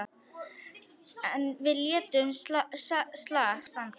En við létum slag standa.